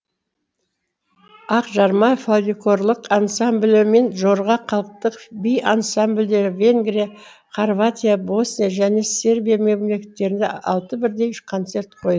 ақжарма фолькорлық ансамблі мен жорға халықтық би ансамбльдері венгрия хорватия босния және сербия мемлекеттерінде алты бірдей концерт қой